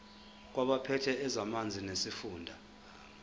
kwabaphethe ezamanzi nesifunda